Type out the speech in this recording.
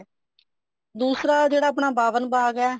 ਦੂਸਰਾ ਜਿਹੜਾ ਆਪਣਾ ਬਾਵਣ ਬਾਗ ਹੈ